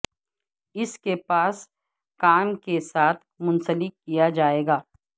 اس کے پاس کام کے ساتھ منسلک کیا جائے گا